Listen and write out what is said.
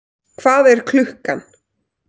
Hvað er klukkan?